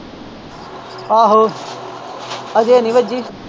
ਆਹੋ ਅਜੇ ਨਹੀਂ ਵੱਜੀ।